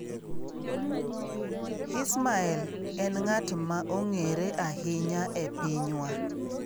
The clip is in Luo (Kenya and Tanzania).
Hismael en ng'at ma ong'ere ahinya e pinywa.